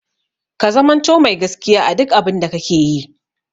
Ka zamanto mai gaskiya a duk abun da kake yi!